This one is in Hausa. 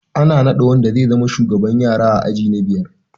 Ana nada wanda zai zama shugaban yara a aji na biyar